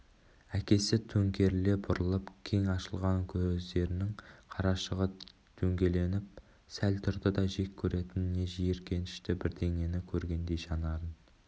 әкесі төңкеріле бұрылып кең ашылған көздерінің қарашығы дөңгеленіп сәл тұрды да жек көретін не жиіркенішті бірдеңені көргендей жанарын